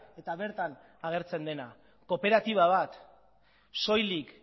eta bertan agertzen dena kooperatiba bat soilik